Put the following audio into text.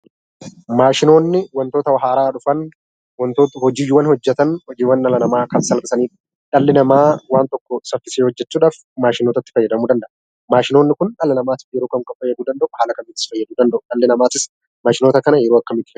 Maashinoonni wantoota haaraa dhufan, wantoota hojiiwwan hojjetan, hojiiwwan dhala namaa kan salphisanii fi dhalli namaa waan tokko saffisee hojjechuudhaaf maashinootatti fayyadamuu danda'a. Maashinoonni kun dhala namaatiif yeroo kam kam fayyaduu danda'u? haala kam kamittis fayyaduu danda'u? dhalli namaatis maashinoota kana yeroo akkamiitti fayyadama?